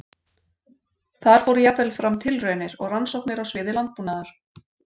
Þar fóru jafnvel fram tilraunir og rannsóknir á sviði landbúnaðar.